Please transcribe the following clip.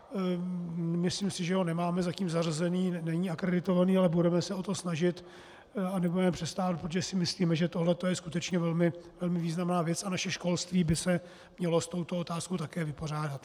Myslím si, že ho nemáme zatím zařazený, není akreditovaný, ale budeme se o to snažit a nebudeme přestávat, protože si myslíme, že toto je skutečně velmi významná věc a naše školství by se mělo s touto otázkou také vypořádat.